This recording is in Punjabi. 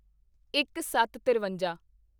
ਇੱਕਸੱਤਤਿਰਵੰਜਾ